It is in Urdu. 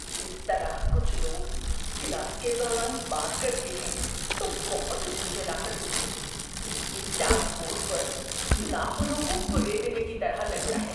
جس طرح کچھ لوگ کلاس کے دوران بات کرتے ہیں تو بہت جھنجھلاہٹ ہوتی ہے۔ یہ چاک بورڈ پر ناخنوں کو کریدنے کی طرح لگتا ہے۔